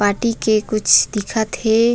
माटी के कुछ दिखत हे।